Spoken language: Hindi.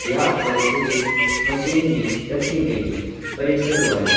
यहां पर कुछ मशीन भी रखी गई हैं प्रेशर वाली।